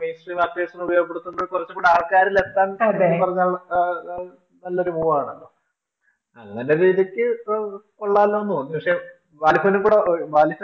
അത്യാവശ്യം ഉപയോഗപ്പെടുത്തേണ്ടത് കുറച്ചും കൂടി ആൾക്കാരിലേക്ക് എത്താൻ ചുരുക്കിപ്പറഞ്ഞാൽ നല്ലൊരു Move ണ്. അതു പിന്നെ ശരിക്കു കൊള്ളാലോന്നു തോന്നി പക്ഷേ വാലിബൻ കൂടി